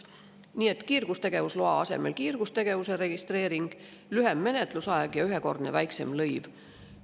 Nii et kiirgustegevusloa asemel kiirgustegevuse registreering, lühem menetlusaeg ja ühekordne väiksem lõiv.